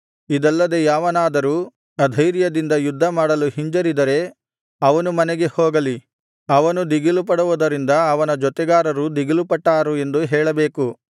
ಇದಲ್ಲದೆ ಯಾವನಾದರೂ ಅಧೈರ್ಯದಿಂದ ಯುದ್ಧ ಮಾಡಲು ಹಿಂಜರಿದರೆ ಅವನೂ ಮನೆಗೆ ಹೋಗಲಿ ಅವನು ದಿಗಿಲುಪಡುವುದರಿಂದ ಅವನ ಜೊತೆಗಾರರೂ ದಿಗಿಲುಪಟ್ಟಾರು ಎಂದು ಹೇಳಬೇಕು